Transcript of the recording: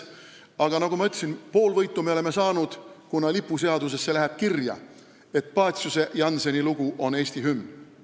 Aga nagu ma ütlesin, pool võitu me oleme saanud, kuna lipuseadusesse läheb kirja, et Paciuse ja Jannseni lugu on Eesti hümn.